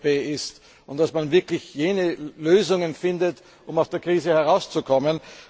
der EVP ist und dass man wirklich jene Lösungen findet, um aus der Krise herauszukommen.